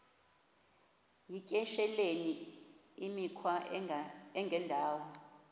yityesheleni imikhwa engendawo